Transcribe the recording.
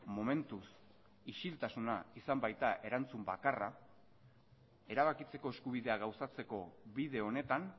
momentuz isiltasuna izan baita erantzun bakarra erabakitzeko eskubidea gauzatzeko bide honetan